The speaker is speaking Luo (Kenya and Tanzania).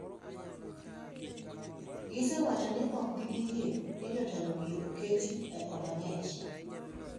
gisewacho ni ok gibiyie ni jatelogi oketi e od ang'ech